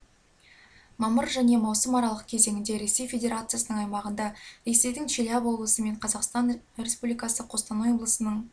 мамыр мен маусым аралық кезеңінде ресей федерациясының аймағында ресейдің челябі облысы мен қазақстан республикасы қостанай облысының